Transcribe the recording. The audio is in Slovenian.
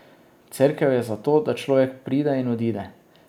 Cerkev je za to, da človek pride in odide.